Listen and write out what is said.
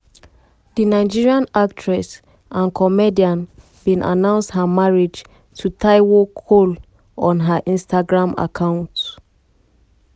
di nigerian actress and comedienne bin announce her marriage to taiwo cole on her instagram account.